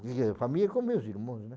vim a família com meus irmãos, né.